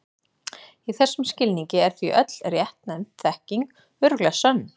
Í þessum skilningi er því öll réttnefnd þekking örugglega sönn.